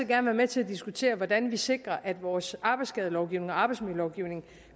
være med til at diskutere hvordan vi sikrer at vores arbejdsskadelovgivning og arbejdsmiljølovgivning